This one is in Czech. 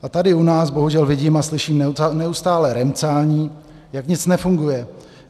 A tady u nás bohužel vidím a slyším neustálé remcání, jak nic nefunguje.